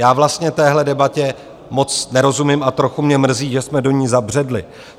Já vlastně téhle debatě moc nerozumím a trochu mě mrzí, že jsme do ní zabředli.